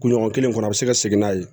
Kuɲɔgɔn kelen kɔnɔ a bɛ se ka segin n'a ye